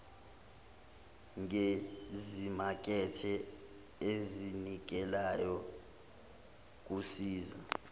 ngezimakethe ezinikelayo kusiza